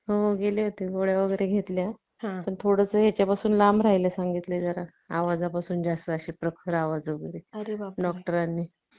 असं म्हंटलं जातं. आणि वरण भात, अह काय तुम्हाला पाहिजेल ते सुंदर सुंदर पदार्थ बनवून